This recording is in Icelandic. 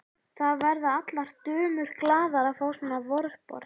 Það verða allar dömur glaðar að fá svona vorboð.